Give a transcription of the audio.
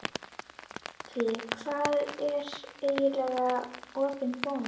Hjálmfríður, hvað er lengi opið í Bónus?